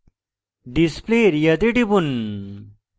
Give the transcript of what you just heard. display area তে টিপুন